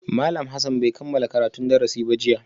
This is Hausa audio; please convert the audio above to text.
Malam Hassan bai kammala karatun darasi ba jiya